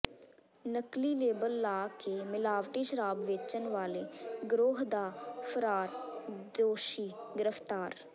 ਨਕਲੀ ਲੇਬਲ ਲਾ ਕੇ ਮਿਲਾਵਟੀ ਸ਼ਰਾਬ ਵੇਚਣ ਵਾਲੇ ਗਰੋਹ ਦਾ ਫ਼ਰਾਰ ਦੋਸ਼ੀ ਗਿ੍ਫ਼ਤਾਰ